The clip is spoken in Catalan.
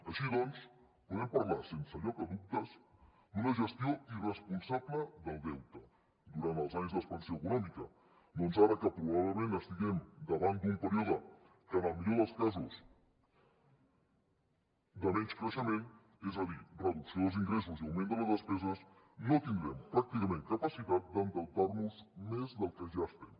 així doncs podem parlar sense lloc a dubtes d’una gestió irresponsable del deute durant els anys d’expansió econòmica doncs ara que probablement estiguem davant d’un període que en el millor dels casos és de menys creixement és a dir reducció dels ingressos i augment de les despeses no tindrem pràcticament capacitat d’endeutar nos més del que ja n’estem